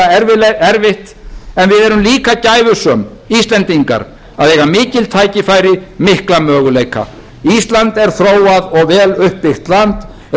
verður vissulega erfitt en við erum líka gæfusöm íslendingar að eiga mikil tækifæri mikla möguleika ísland er þróað og vel uppbyggt land